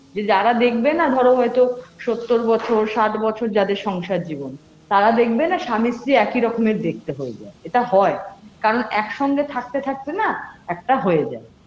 যে যারা দেখবে না ধরো হয়তো সত্তর বছর ষাট বছর যাদের সংসার জীবন তারা দেখবে না স্বামী স্ত্রী একই রকমের দেখতে হয়ে যায় এটা হয় কারণ এক সঙ্গে থাকতে থাকতে না একটা হয়ে যায়